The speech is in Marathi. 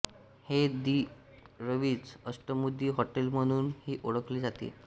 हे दी रवीझ अष्टमुदी हॉटेल म्हणून ही ओळखले जाते